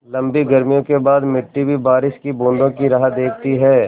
लम्बी गर्मियों के बाद मिट्टी भी बारिश की बूँदों की राह देखती है